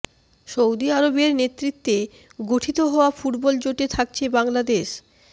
Saudi আরবের নেতৃত্বে গঠিত হওয়া ফুটবল জোটে থাকছে বাংলাদেশ